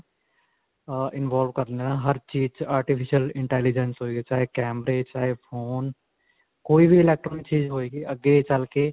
ਅਅ involve ਕਰ ਲਿਆ ਹਰ ਚੀਜ ਵਿੱਚ artificial intelligence ਹੋਏਗੀ. ਚਾਹੇ ਕੈਮਰੇ, ਚਾਹੇ phone. ਕੋਈ ਵੀ electronic ਚੀਜ਼ ਹੋਏਗੀ ਅੱਗੇ ਚਲਕੇ.